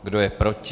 Kdo je proti?